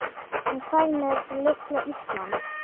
En hvað með litla Ísland?